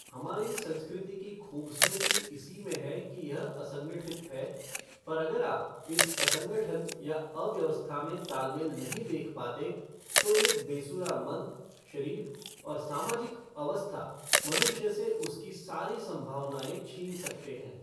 हमारी संस्कृति की खू़बसूरती इसी में है कि यह असंगठित है पर अगर आप इस असंठन या अव्यवस्था में तालमेल नहीं देख पाते तो एक बेसुरा मन, शरीर और सामाजिक अवस्था मनुष्य से उसकी सारी संभावनाएँ छीन सकते हैं।